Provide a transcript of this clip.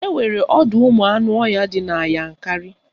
Enwere ọdọụmụanụọhịa dị na Yankarị